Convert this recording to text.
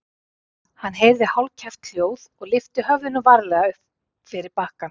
Hann heyrði hálfkæft hljóð og lyfti höfðinu varlega upp fyrir bakkann.